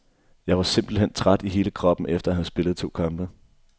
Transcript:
Jeg var simpelt hen træt i hele kroppen efter at have spillet to kampe.